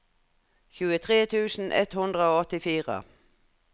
tjuetre tusen ett hundre og åttifire